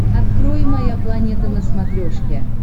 открой моя планета на смотрешке